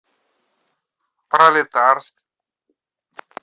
пролетарск